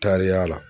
Taariya la